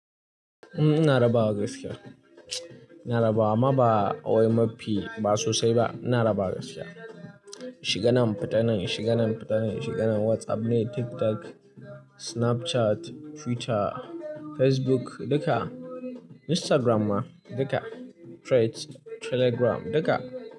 Ina rabawa gaskiya. Ina rabawa amma ba wai mafi ba sosai ba. Ina rabawa gaskiya. Shiganen fita nan, shiganen fita nan, shiganen WhatsApp ne, TikTok, Snapchat, Twitter, Facebook duka, Instagram ma duka, Threads, Telegram duka.